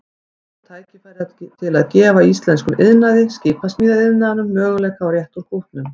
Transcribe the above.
Nú er tækifæri til að gefa íslenskum iðnaði, skipasmíðaiðnaðinum, möguleika á að rétta úr kútnum.